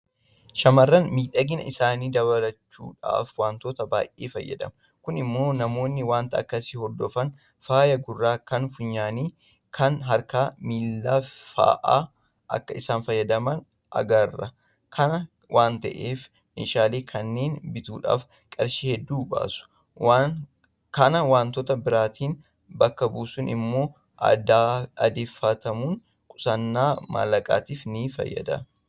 Shaamarran miidhagina isaanii dabaluudhaaf waantota baay'ee fayyadamu. Kun immoo namoonni waanta akkasii hordofan faaya gurraa, kan funyaanii, Kan harkaafi miilaa fa'aa akka isaan fayyadaman agarra. Kana waanta ta'eef meeshaalee kanneen bituudhaaf qarshii hedduu baasu. Kana waantota biraatiin bakka buusuun immoo aadeffatamuun qusannaa maallaqaatiif nifayyada.